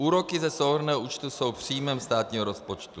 Úroky ze souhrnného účtu jsou příjmem státního rozpočtu.